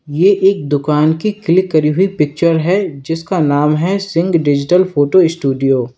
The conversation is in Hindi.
ये एक दुकान की क्लिक करी हुई पिक्चर है जिसका नाम है सिंह डिजिटल फोटो स्टूडियो --